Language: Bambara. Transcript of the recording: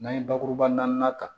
N'an ye bakuruba naani ta